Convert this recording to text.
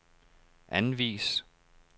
anvis